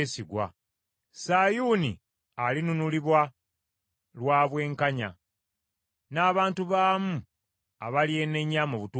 Sayuuni alinunulibwa lwa bwenkanya, n’abantu baamu abalyenenya mu butuukirivu.